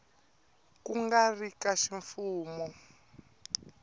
ku nga ri ka ximfumo